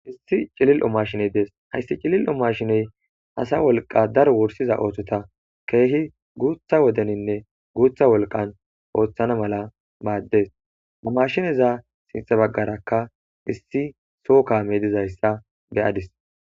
issi cilil umashiney dees hayssi cilil umashiney asa wolqa dar worsiza oothota keehi guutha wodeninne guutha wolqan ooththana mala baaddes umashineza sinxa baggarakka issi soo kaame dizayssa beyadis